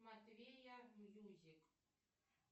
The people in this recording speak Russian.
матвея мьюзик